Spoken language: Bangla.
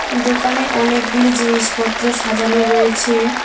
দোকানে অনেকগুলি জিনিসপত্র সাজানো রয়েছে।